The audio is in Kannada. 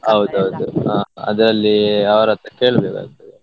ಹೌದೌದು ಹಾ ಅದ್ರಲ್ಲಿ ಅವ್ರತ್ರ ಕೇಳ್ಬೇಕ್ ಆಗ್ತದೆ.